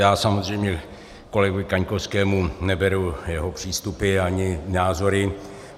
Já samozřejmě kolegovi Kaňkovskému neberu jeho přístupy ani názory.